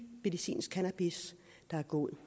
medicinsk cannabis der er god